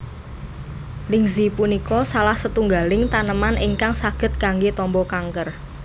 Lingzhi punika salah setunggaling taneman ingkang saged kanggé tamba kanker